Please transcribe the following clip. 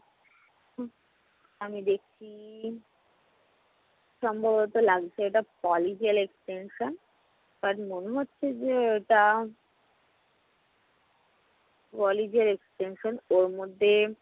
আমি দেখছি সম্ভবত লাগছে এটা polygel extension but মনে হচ্ছে যে ওটা polygel extension but ওর মধ্যে